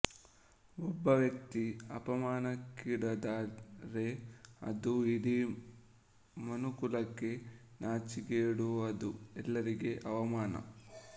ಒಬ್ಬ ವ್ಯಕ್ತಿ ಅಪಮಾನಕ್ಕೀಡಾದರೆ ಅದು ಇಡೀ ಮನುಕುಲಕ್ಕೇ ನಾಚಿಕೆಗೇಡುಅದು ಎಲ್ಲರಿಗೂ ಅವಮಾನ